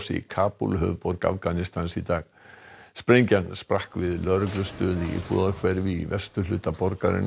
í Kabúl höfuðborg Afganistans í dag sprengjan sprakk við lögreglustöð í íbúðahverfi í vesturhluta borgarinnar